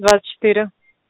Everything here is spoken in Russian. двадцать четыре